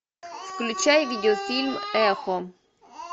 включай видеофильм эхо